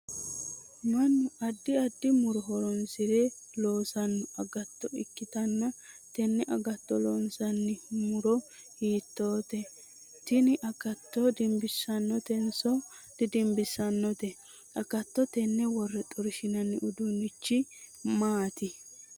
Mannu addi addi moro horoonsire loosano agatto ikitanna tenne agatto loonsanni muro hiiteneeti? Tinni agatto dimbisanotenso dadimbisanote agatto tenne wore xorshinna uduunnichi maati?